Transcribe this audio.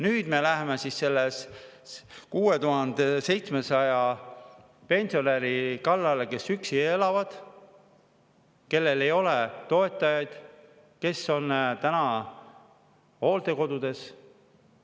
Nüüd me läheme 6700 pensionäri kallale, kes elavad üksi, kellel ei ole toetajaid, kes on täna hooldekodus.